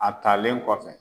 A talen kɔfɛ